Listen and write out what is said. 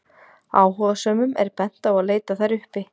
Áhugasömum er bent á að leita þær uppi.